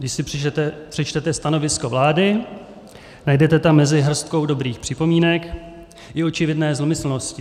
Když si přečtete stanovisko vlády, najdete tam mezi hrstkou dobrých připomínek i očividné zlomyslnosti.